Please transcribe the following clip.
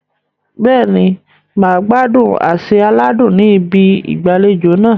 Bẹ́ẹ̀ni, mà á gbádùn àsè aládùn ní ibi ìgbàlejò náà.